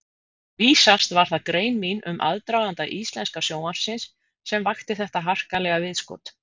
Vísast var það grein mín um aðdraganda íslenska sjónvarpsins, sem vakti þetta harkalega viðskot.